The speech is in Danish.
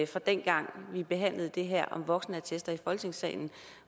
fra dengang vi behandlede det her om voksenattester i folketingssalen